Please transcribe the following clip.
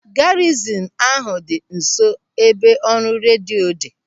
Garizin ahụ dị nso ebe ọrụ redio dị.